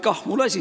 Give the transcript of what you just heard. Kah mul asi!